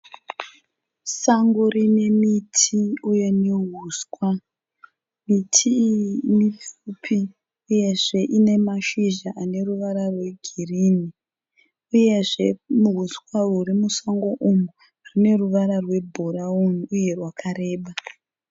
Sango rine miti uye nehuswa. Miti iyi mipfupi uyezve ine mashizha ane ruvara rwegirini, uyezve huswa huri musango umu hune ruvara rwebhurauni uye hwakareba.